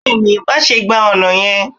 bẹẹni, maṣe gba ọna yẹn.